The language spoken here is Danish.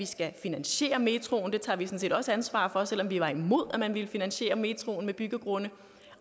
skal finansiere metroen det tager vi sådan set også ansvar for selv om vi var imod at man ville finansiere metroen med byggegrunde